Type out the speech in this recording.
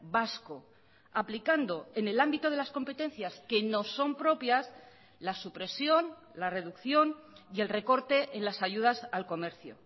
vasco aplicando en el ámbito de las competencias que nos son propias la supresión la reducción y el recorte en las ayudas al comercio